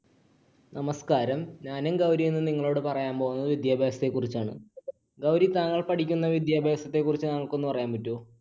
നമസ്ക്കാരം. ഞാനും ഗൗരിയും ഇന്ന് നിങ്ങളോട് പറയാൻ പോകുന്നത് വിദ്യാഭ്യാസത്തെക്കുറിച്ചാണ്. ഗൗരി, താങ്കൾ പഠിക്കുന്ന വിദ്യാഭ്യാസത്തെക്കുറിച്ച് നിങ്ങൾക്ക് ഒന്ന് പറയാൻപറ്റുവോ